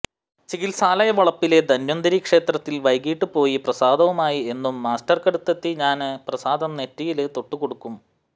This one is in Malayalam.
ചികിത്സാലയ വളപ്പിലെ ധന്വന്തരി ക്ഷേത്രത്തില് വൈകിട്ട് പോയി പ്രസാദവുമായി എന്നും മാസ്റ്റര്ക്കടുത്തെത്തി ഞാന്പ്രസാദം നെറ്റിയില് തൊട്ടുകൊടുക്കും